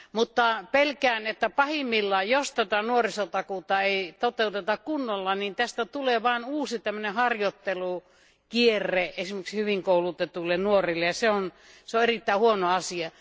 Mutta pelkään, että pahimmillaan, jos tätä nuorisotakuuta ei toteuteta kunnolla, niin tästä tulee vain uusi tällainen harjoittelukierre esimerkiksi hyvin koulutetuille nuorille, ja se on erittäin huono asia.